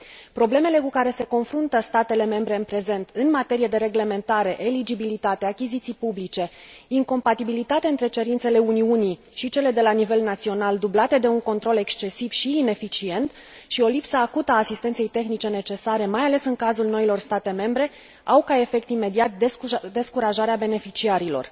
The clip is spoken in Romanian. Problemele cu care se confruntă statele membre în prezent în materie de reglementare, eligibilitate, achiziții publice, incompatibilitate între cerințele Uniunii și cele de la nivel național, dublate de un control excesiv și ineficient și o lipsă acută a asistenței tehnice necesare, mai ales în cazul noilor state membre, au ca efect imediat descurajarea beneficiarilor.